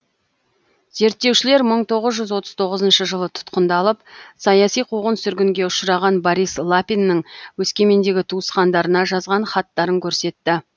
зерттеушілер мың тоғыз жүз отыз тоғызыншы жылы тұтқындалып саяси қуғын сүргінге ұшыраған борис лапиннің өскемендегі туысқандарына жазған хаттарын көрсетті